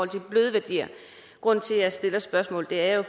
de bløde værdier grunden til at jeg stiller spørgsmålet er at